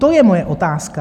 To je moje otázka.